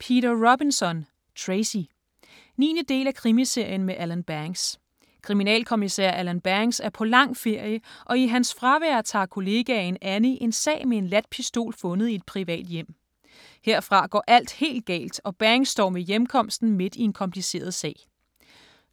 Robinson, Peter: Tracy 9. del af Krimiserien med Alan Banks. Kriminalkommissær Alan Banks er på lang ferie, og i hans fravær tager kollegaen Annie en sag med en ladt pistol fundet i et privat hjem. Herfra går alt helt galt, og Banks står ved hjemkomsten midt i en kompliceret sag.